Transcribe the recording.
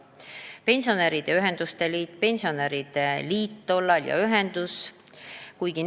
Eesti Pensionäride Ühenduste Liit valutab südant oma laste ja lastelaste pärast.